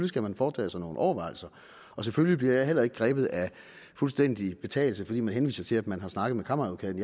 skal man foretage sig nogle overvejelser og selvfølgelig bliver jeg heller ikke grebet af fuldstændig betagelse fordi man henviser til at man har snakket med kammeradvokaten